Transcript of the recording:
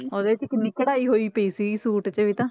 ਉਹਦੇ 'ਚ ਕਿੰਨੀ ਕਢਾਈ ਹੋਈ ਪਈ ਸੀਗੀ ਸੂਟ 'ਚ ਵੀ ਤਾਂ